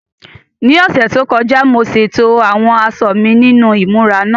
Ní ọ̀sẹ̀ tó kọjá, mo ṣètò àwọn aṣọ mi nínú ìmúra náà.